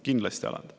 Kindlasti alandab.